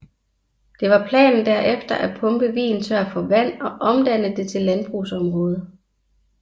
Det var planen derefter at pumpe vigen tør for vand og omdanne det til landbrugsområde